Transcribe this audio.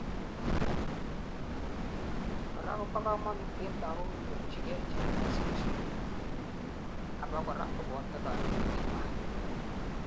korak kobo kamanut en lagok konyorchigei chikilosiek abakora koboto kanyoindet nywan